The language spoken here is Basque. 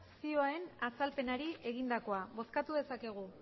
zioen azalpenari egindakoa bozkatu dezakegu